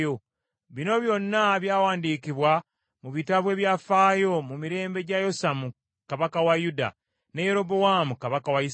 Bino byonna byawandiikibwa mu bitabo ebyafaayo mu mirembe gya Yosamu kabaka wa Yuda, ne Yerobowaamu kabaka wa Isirayiri.